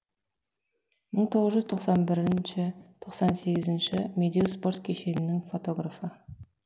мың тоғыз жүз тоқсан бірінші тоқсан сегізінші медеу спорт кешенінің фотографы